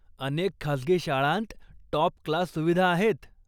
अनेक खासगी शाळांत टाॅप क्लास सुविधा आहेत.